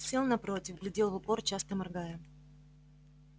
сел напротив глядел в упор часто моргая